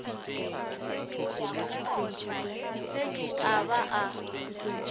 se ke a ba a